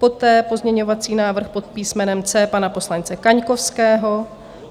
Poté pozměňovací návrh pod písmenem C pana poslance Kaňkovského.